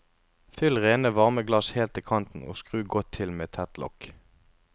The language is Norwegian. Fyll rene varme glass helt til kanten og skru godt til med tett lokk.